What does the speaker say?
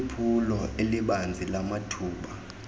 liphulo elibanzi lamathuba